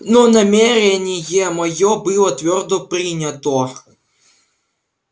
но намерение моё было твёрдо принято